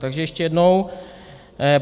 Takže ještě jednou.